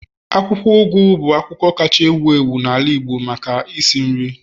akwukwo ugu bu akwukwo kacha ewu ewu n'ala Igbo maka isi nri